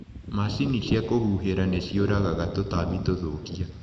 Macini cia kũhuhĩrĩria nĩciũragaga tũtambi tũthũkia.